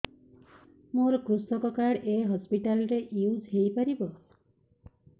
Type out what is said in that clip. ମୋର କୃଷକ କାର୍ଡ ଏ ହସପିଟାଲ ରେ ୟୁଜ଼ ହୋଇପାରିବ